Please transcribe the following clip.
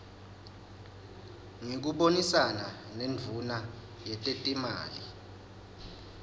ngekubonisana nendvuna yetetimali